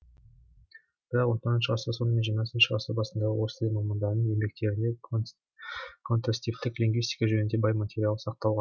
бірақ он тоңызыншы ғасырдың соңы мен жиырмасыншы ғасырдың басындағы орыс тілі мамандарының енбектерінде контрастивтік лингвистика жөнінде бай материал сақталған